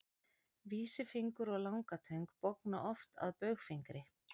vísifingur og langatöng bogna oft að baugfingri